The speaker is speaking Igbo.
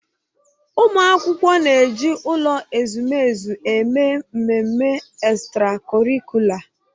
Ụmụ akwụkwọ na-eji ụlọ ezumezu eme mmemme ekstrakọrịkula